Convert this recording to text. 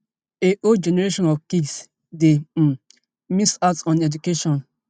a whole generation of kids dey um miss out on education